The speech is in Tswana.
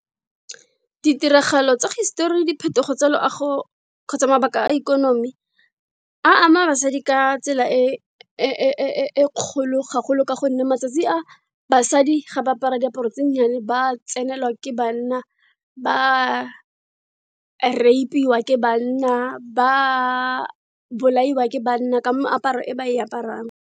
Ditiragalo tsa hisetori, diphetogo tsa loago, kgotsa mabaka a ikonomi, a ama basadi ka tsela e kgolo ga golo ka gonne matsatsi a, basadi ga ba apara diaparo tse di nnyane ba tsenelwa ke banna, ba raipiwa ke banna, ba bolaiwa ke banna, ka moaparo e ba e aparang.